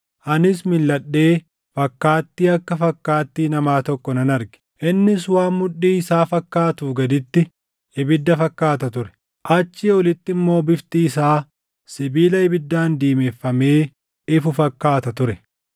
Anis milʼadhee fakkaattii akka fakkaattii namaa tokko nan arge. Innis waan mudhii isaa fakkaatuu gaditti ibidda fakkaata ture; achii olitti immoo bifti isaa sibiila ibiddaan diimeffamee ifu fakkaata ture.